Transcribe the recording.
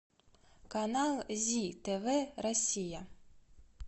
канал зи тв россия